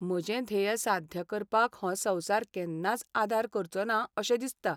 म्हजें ध्येय साध्य करपाक हो संवसार केन्नाच आदार करचोना अशें दिसता.